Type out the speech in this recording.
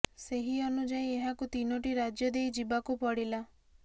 ସେହି ଅନୁଯାୟୀ ଏହାକୁ ତିନୋଟି ରାଜ୍ୟ ଦେଇ ଯିବାକୁ ପଡ଼ିଲା